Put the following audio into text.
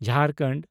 Jharkhand